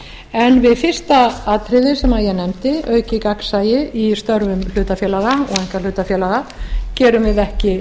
en við fyrsta atriðið sem ég nefndi aukið gagnsæi í störfum hlutafélaga og einkahlutafélaga gerum við ekki